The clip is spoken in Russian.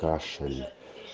кашель